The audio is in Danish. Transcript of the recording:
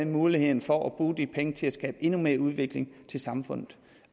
mulighed for at bruge de penge til at skabe endnu mere udvikling i samfundet